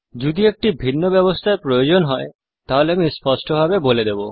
যদি একটি ভিন্ন ব্যবস্থার প্রয়োজন হয় তাহলে আমি স্পষ্টভাবে বলে দেব